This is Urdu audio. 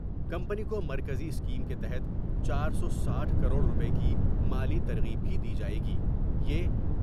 کمپنی کو مرکزی اسکیم کے تحت چار سو ساٹھ کروڑ روپے کی مالی ترغیب بھی دی جاۓ گی یہ ۔